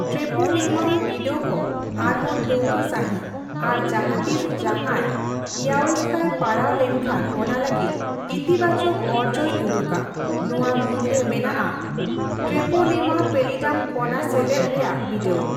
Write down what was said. ᱴᱨᱮᱯᱳᱱᱮᱢᱟᱞ ᱵᱤᱰᱟᱹᱣ ᱠᱚ ᱟᱨᱦᱚᱸ ᱴᱷᱟᱹᱣᱠᱟᱹ ᱥᱟᱸᱦᱤᱪ, ᱟᱨ ᱡᱟᱦᱟᱸ ᱛᱤᱥ ᱡᱟᱦᱟᱸᱭ ᱤᱭᱟᱳᱚᱥᱛᱮᱭ ᱯᱟᱲᱟᱣ ᱞᱮᱱ ᱠᱷᱟᱱ ᱚᱱᱟ ᱞᱟᱹᱜᱤᱫ ᱤᱛᱤᱵᱟᱪᱚᱠ ᱚᱨᱡᱚᱭ ᱩᱫᱩᱜᱼᱟ; ᱱᱚᱣᱟ ᱢᱩᱫᱨᱮ ᱢᱮᱱᱟᱜᱼᱟ ᱴᱨᱮᱯᱳᱱᱮᱢᱟ ᱯᱮᱞᱤᱰᱟᱢ ᱠᱚᱱᱟ ᱥᱮᱞᱮᱫ ᱨᱮᱭᱟᱜ ᱵᱤᱰᱟᱹᱣ ᱾